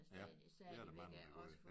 Ja det er der mange der gør